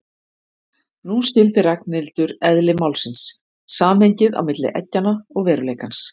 Nú skildi Ragnhildur eðli málsins, samhengið á milli eggjanna og veruleikans.